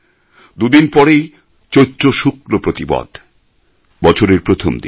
দু দিন পরেই চৈত্র শুক্ল প্রতিপদ বছরের প্রথমদিন